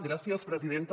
gràcies presidenta